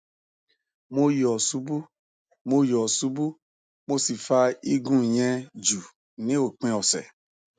mo yo subu mo yo subu mo si fa igun yen ju ni opin ọsẹ